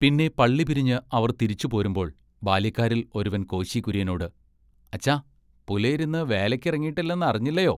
പിന്നെ പള്ളി പിരിഞ്ഞ് അവർ തിരിച്ചു പോരുമ്പോൾ ബാല്യക്കാരിൽ ഒരുവൻ കോശി കുര്യനോട് “അച്ഛാ പുലയരിന്ന് വേലയ്ക്കിറങ്ങീട്ടില്ലെന്നറിഞ്ഞില്ലയൊ?